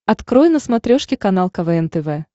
открой на смотрешке канал квн тв